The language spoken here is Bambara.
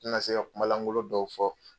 U tina se ka kumalangolo dɔw fɔ